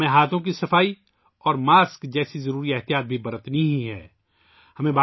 ہمیں ہاتھوں کی صفائی اور ماسک جیسی ضروری احتیاطی تدابیر بھی اختیار کرنی ہیں